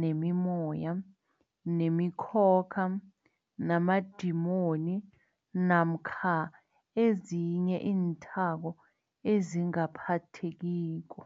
nemimoya, nemikhokha, namadimoni namkha ezinye iinthako ezingaphathekiko.